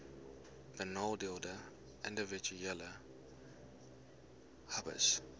benadeelde individue hbis